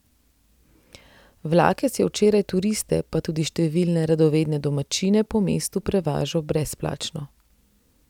Vlakec je včeraj turiste pa tudi številne radovedne domačine po mestu prevažal brezplačno.